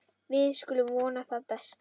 Við skulum vona það besta.